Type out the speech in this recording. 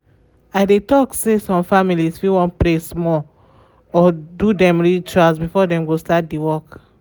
i dey talk say some families fit wan pray small or do dem rituals before dem go start di work.